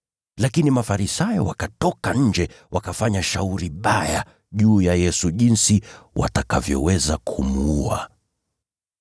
Lakini Mafarisayo wakatoka nje, wakafanya shauri baya juu ya Yesu jinsi watakavyoweza kumuua.